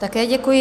Také děkuji.